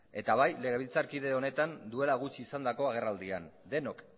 eta bai legebiltzarkide honetan duela gutxi izandako agerraldian denok